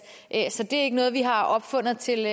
så det er ikke noget vi har opfundet til